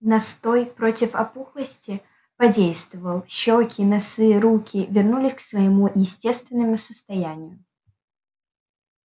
настой против опухлости подействовал щёки носы руки вернулись к своему естественному состоянию